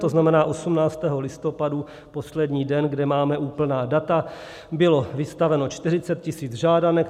To znamená, 18. listopadu, poslední den, kdy máme úplná data, bylo vystaveno 40 tisíc žádanek.